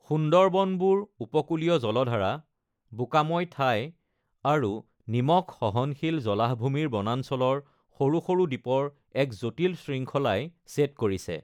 সুন্দৰবনবোৰ উপকূলীয় জলধাৰা, বোকাময় ঠাই আৰু নিমখ-সহনশীল জলাহভূমিৰ বনাঞ্চলৰ সৰু-সৰু দ্বীপৰ এক জটিল শৃংখলাই ছেদ কৰিছে।